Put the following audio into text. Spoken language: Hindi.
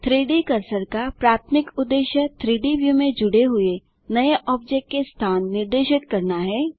3डी कर्सर का प्राथमिक उद्देश्य 3Dव्यू में जुड़े हुए नए ऑब्जेक्ट के स्थान निर्दिष्ट करना है